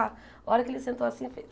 A hora que ele sentou assim, fez...